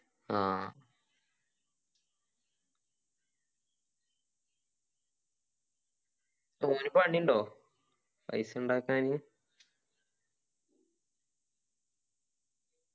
ആ ഓനി പണിയുണ്ടോ പൈസ ഉണ്ടാക്കാനി